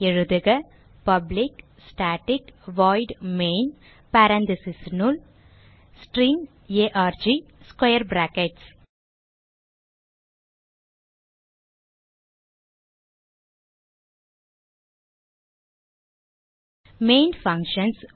எழுதுக public static void main parentheses னுள் string arg square brackets main functions